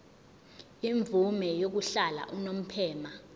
imvume yokuhlala unomphema